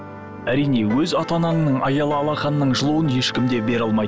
әрине өз ата анаңның аялы алақанының жылуын ешкім де бере алмайды